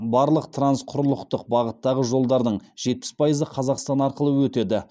барлық трансқұрлықтық бағыттағы жолдардың жетпіс пайызы қазақстан арқылы өтеді